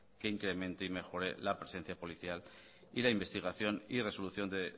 que incremente y mejore la presencia policial y la investigación y resolución de